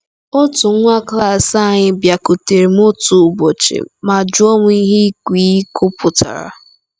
“Otu nwa klas anyị bịakwutere m otu ụbọchị ma jụọ m ihe ‘ịkwa iko’ pụtara.